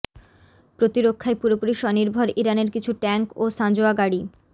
প্রতিরক্ষায় পুরোপুরি স্বনির্ভর ইরানের কিছু ট্যাংক ও সাঁজোয়া গাড়ি